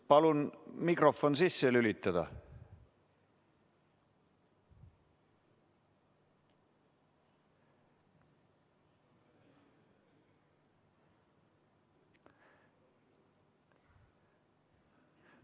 Palun mikrofon sisse lülitada!